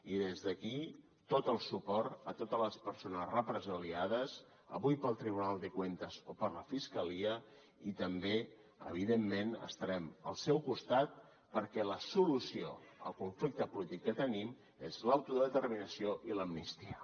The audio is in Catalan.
i des d’aquí tot el suport a totes les persones represaliades avui pel tribunal de cuentas o per la fiscalia i també evidentment estarem al seu costat perquè la solució al conflicte polític que tenim és l’autodeterminació i l’amnistia